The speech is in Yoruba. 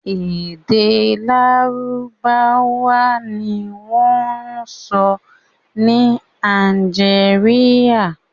Èdè Lárúbáwá ni wọ́n ń sọ ni Algeria.